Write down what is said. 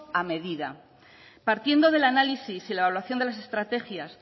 a medida partiendo del análisis y la evaluación de las estrategias